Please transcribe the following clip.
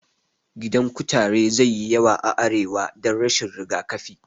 Gidan kutare zai yi yawa a arewa dan rashin rigakafi